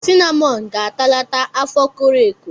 Sinamọn ga-atalata afọ koro eko.